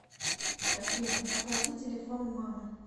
афина оплати телефон мамы